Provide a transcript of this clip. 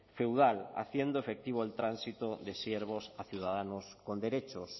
feudal haciendo efectivo el tránsito de siervos a ciudadanos con derechos